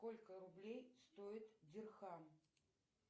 сколько рублей стоит дирхам